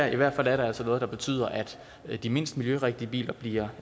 i hvert fald er det altså noget der betyder at de mindst miljørigtige biler bliver